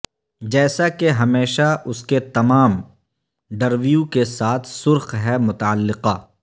جیسا کہ ہمیشہ اس کے تمام ڈرویو کے ساتھ سرخ ہے متعلقہ